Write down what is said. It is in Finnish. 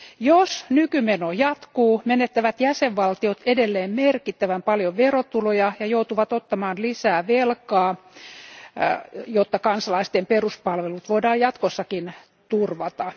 Jos nykymeno jatkuu, menettävät jäsenvaltiot edelleen merkittävän paljon verotuloja ja joutuvat ottamaan lisää velkaa, jotta kansalaisten peruspalvelut voidaan jatkossakin turvata.